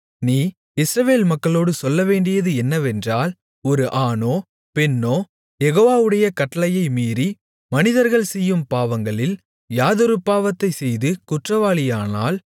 நீ இஸ்ரவேல் மக்களோடு சொல்லவேண்டியது என்னவென்றால் ஒரு ஆணோ பெண்ணோ யெகோவாவுடைய கட்டளையை மீறி மனிதர்கள் செய்யும் பாவங்களில் யாதொரு பாவத்தைச் செய்து குற்றவாளியானால்